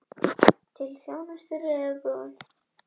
Hann settist á hækjur sér og reyndi að ræða málin í augnhæð stelpunnar.